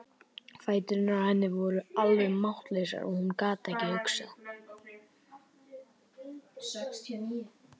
Fæturnir á henni voru alveg máttlausir og hún gat ekki hugsað.